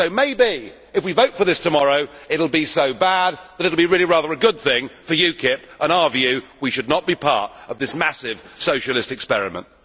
Maybe, if we vote for this tomorrow, it will be so bad that it will be really rather a good thing for UKIP and our view that we should not be part of this massive socialist experiment.